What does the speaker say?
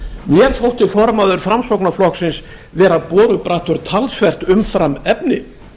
mér þótti formaður framsóknarflokksins vera borubrattur talsvert umfram efni